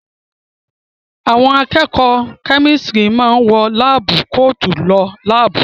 Àwọn akẹ́kọ̀ọ́ kẹ́mísítìrì máa wọ láábú koòtù lọ láàbù.